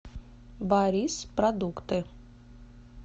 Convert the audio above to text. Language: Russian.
барис продукты